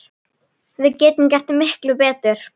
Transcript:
Við getum gert miklu betur!